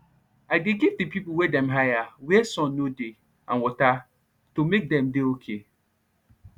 i dey give de pipo wey dem hire where sun nor dey and water to make dem dey ok